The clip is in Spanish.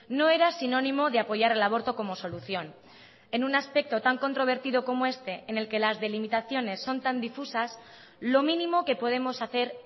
no era sinónimo de apoyar el aborto como solución en un aspecto tan controvertido como este en el que las delimitaciones son tan difusas lo mínimo que podemos hacer